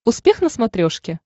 успех на смотрешке